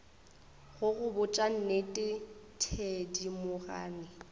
go go botša nnete thedimogane